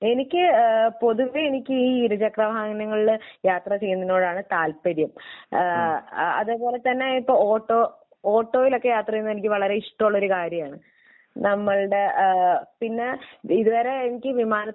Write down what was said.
എനിക്ക് ഏഹ് പൊതുവെ എനിക്ക് ഈ ഇരുചക്രവാഹനങ്ങളിൽ യാത്ര ചെയ്യുന്നതിനോടാണ് താല്പര്യം. ഏഹ് അതുപോലെ തന്നെ ഇപ്പോൾ ഓട്ടോ ഓട്ടോയിലൊക്കെ യാത്ര ചെയ്യുന്നത് എനിക്ക് വളരെ ഇഷ്ടമുള്ള ഒരു കാര്യമാണ്. നമ്മളുടെ ഏഹ് പിന്നെ ഇതുവരെ ഈ വിമാനത്തിലൊന്നും